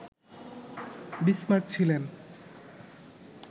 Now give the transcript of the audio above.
Bismarck ছিলেন